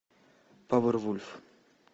повервульф